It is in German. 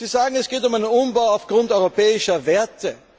Sie sagen, es geht um einen Umbau aufgrund europäischer Werte.